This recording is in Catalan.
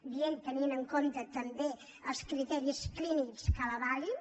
dient tenint en compte també els criteris clínics que l’avalin